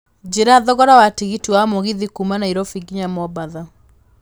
njĩra thogora wa tigiti wa mũgithi kuuma Nairobi nginya mombatha